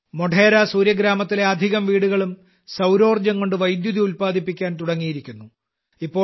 മോഢേര സൂര്യഗ്രാമത്തിലെ അധികം വീടുകളും സൌരോർജ്ജംകൊണ്ട് വൈദ്യുതി ഉൽപ്പാദിപ്പിക്കാൻ തുടങ്ങിയിരിക്കുന്നു